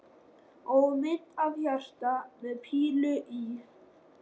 Og mynd af hjarta með pílu í.